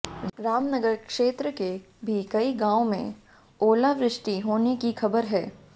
रामनगर क्षेत्र के भी कई गांव में ओलावृष्टि होने की खबर है